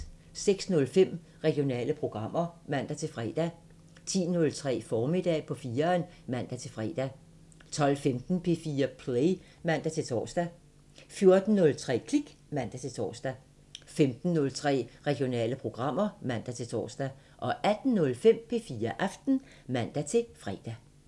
06:05: Regionale programmer (man-fre) 10:03: Formiddag på 4'eren (man-fre) 12:15: P4 Play (man-tor) 14:03: Klik (man-tor) 15:03: Regionale programmer (man-tor) 18:05: P4 Aften (man-fre)